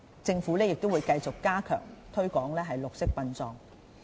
政府亦會繼續加強推廣綠色殯葬。